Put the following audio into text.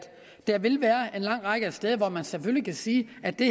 der vil være en lang række steder hvor man selvfølgelig kan sige at det